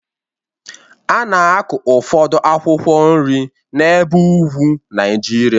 A na-akụ ụfọdụ akwụkwọ nri n'ebe ugwu Nigeria